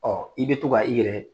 i bɛ to ka i yɛrɛ